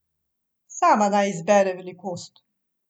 Sama naj izbere velikost.